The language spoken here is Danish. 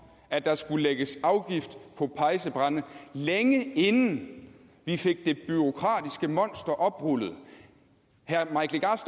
at der skulle lægges afgift på pejsebrænde længe inden vi fik det bureaukratiske monster oprullet herre mike legarth